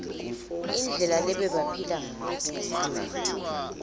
indlela lebebaphila ngayo